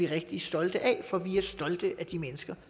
rigtig stolte af for vi er stolte af de mennesker